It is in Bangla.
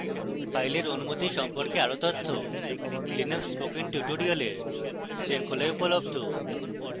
file অনুমতি সম্পর্কে আরো তথ্য linux spoken tutorial শৃঙ্খলায় উপলব্ধ